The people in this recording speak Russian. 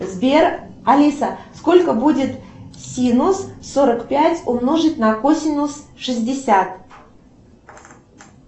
сбер алиса сколько будет синус сорок пять умножить на косинус шестьдесят